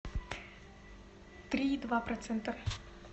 три и два процента